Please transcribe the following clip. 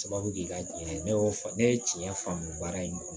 Sababu kɛ ka tiɲɛ ne ye tiɲɛ faamu baara in kɔnɔ